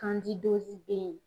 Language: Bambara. bɛ ye.